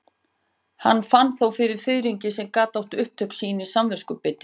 Hann fann þó fyrir fiðringi sem gat átt upptök sín í samviskubiti.